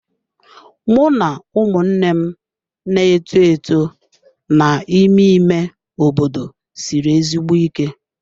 Mụ na ụmụnne m na-eto eto n'ime ime obodo siri ezigbo ike.